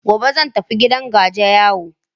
Gobe zan tafi gidan gajiyayu.